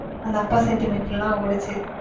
அந்த அப்பா sentiments யெல்லாம் ஒடச்சு.